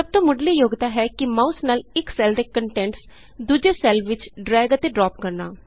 ਸਭ ਤੋਂ ਮੁੱਢਲੀ ਯੋਗਤਾ ਹੈ ਕਿ ਮਾਊਸ ਨਾਲ ਇਕ ਸੈੱਲ ਦੇ ਕੰਟੈਂਟਸ ਦੂਜੇ ਸੈੱਲ ਵਿਚ ਡਰੈਗ ਅਤੇ ਡਰਾਪ ਕਰਨਾ